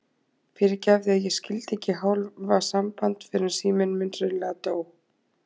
Fyrirgefðu að ég skyldi ekki hafa samband fyrr en síminn minn hreinlega dó.